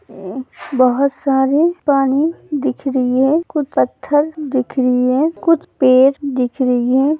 मम बहोत सारे पानी दिख रई है। कुछ पत्थर दिख रई है। कुछ पेर दिख रई है।